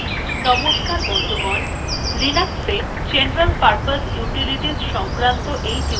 নমস্কার বন্ধুগণ linux general purpose utilities সংক্রান্ত এই টিউটোরিয়ালটিতে আমি আপনাদের স্বাগত জানাচ্ছি